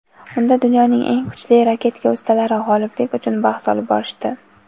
Unda dunyoning eng kuchli raketka ustalari g‘oliblik uchun bahs olib borishdi.